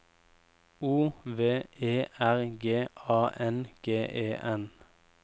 O V E R G A N G E N